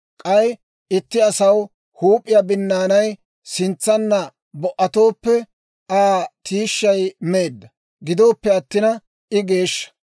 K'ay itti asaw huup'iyaa binnaanay sintsanna bo"atooppe, Aa tiishshay meedda; gidoppe attina I geeshsha.